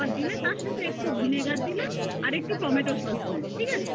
দিলে তারপরে একটু vinegar দিলে আর একটু tomato sauce দিলে ঠিক আছে